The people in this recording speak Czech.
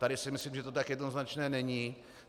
Tady si myslím, že to tak jednoznačné není.